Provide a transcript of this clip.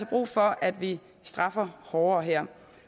brug for at vi straffer hårdere her